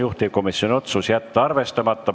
Juhtivkomisjoni otsus: jätta arvestamata.